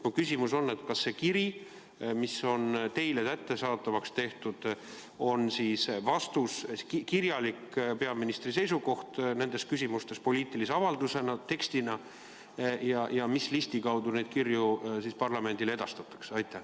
Mu küsimus on: kas see kiri, mis on teile kättesaadavaks tehtud, on vastus, kirjalik peaministri seisukoht nendes küsimustes poliitilise avaldusena, tekstina, ja mis listi kaudu neid kirju parlamendile edastatakse?